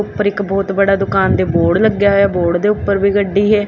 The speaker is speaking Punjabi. ਉੱਪਰ ਇੱਕ ਬਹੁਤ ਵੱਡਾ ਦੁਕਾਨ ਦੇ ਬੋਰਡ ਲੱਗਿਆ ਹੋਇਆ ਬੋਰਡ ਦੇ ਉੱਪਰ ਵੀ ਗੱਡੀ ਹੈ।